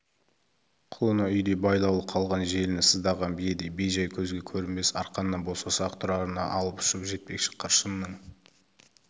құлыны үйде байлаулы қалған желіні сыздаған биедей бей-жай көзге көрінбес арқаннан босаса-ақ тұрарына алып-ұшып жетпекшідей қыршынның